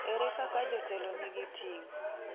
Ere kaka jotelo nigi ting’?